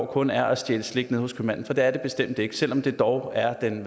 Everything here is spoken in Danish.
kun er at stjæle slik nede hos købmanden for det er det bestemt ikke selv om det dog er den